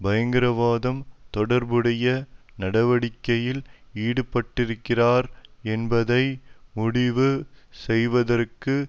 பயங்கரவாதம் தொடர்புடைய நடவடிக்கையில் ஈடுபட்டிருக்கிறாரா என்பதை முடிவு செய்வதற்கு